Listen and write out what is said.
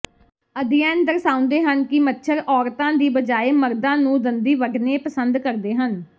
ਅਧਿਐਨ ਦਰਸਾਉਂਦੇ ਹਨ ਕਿ ਮੱਛਰ ਔਰਤਾਂ ਦੀ ਬਜਾਏ ਮਰਦਾਂ ਨੂੰ ਦੰਦੀ ਵੱਢਣੇ ਪਸੰਦ ਕਰਦੇ ਹਨ